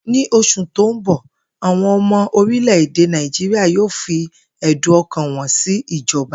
Ní os̩ù tó ń bò̩, àwo̩n o̩mo̩ orimlè̩-èdè Naijíríà yóò fi è̩dùn o̩kàn wo̩n sí ìjo̩ba